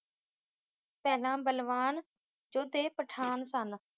ਪਹਿਲਾ ਬਲਵਾਨ ਜੋਧੇ ਪਠਾਣ ਸਨ,